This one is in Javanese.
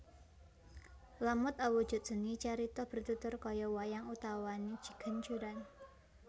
Lamut awujud seni carita bertutur kaya wayang utawane ciganjuran